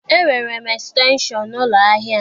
E nwere m estenshọn n'ụlọ ahịa m.